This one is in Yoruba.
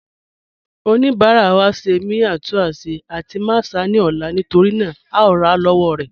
Ọnibara wa n ṣẹ miyan tuásẹ̀ àti màsà ni ọ̀la nítorína à o rà lọ́wọ̀ rẹ̀